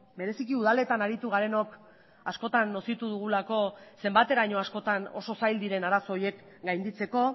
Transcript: bereziki udaletan aritu garenok askotan nozitu dugulako zenbateraino askotan oso zail diren arazo horiek gainditzeko